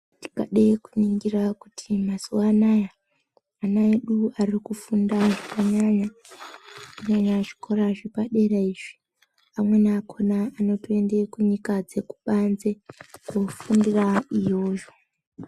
Tikade kuningira kuti mazuva anaya, ana edu varikufunda zvakanyanya, kunyanya -nyanya zvikora zvepadera izvi. Amweni akhona anotoenda kunyika dzekubanze koofundira iyoyo.